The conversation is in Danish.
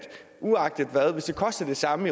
sammen